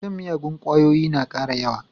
Shan miyagun ƙwayoyi na ƙara yawa.